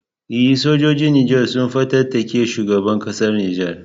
E, sojojin Nijar sun fatattaki shugaban kasar Nijar.